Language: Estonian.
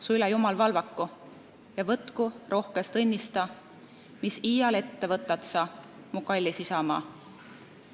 Su üle Jumal valvaku Ja võtku rohkest õnnista Mis iial ette võtad sa, Mu kallis isamaa!